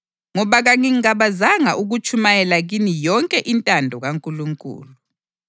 Ngoba kangingabazanga ukutshumayela kini yonke intando kaNkulunkulu.